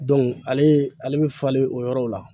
ale ale bɛ falen o yɔrɔw la